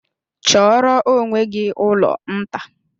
Chọọrọ onwe gị ụlọ nta!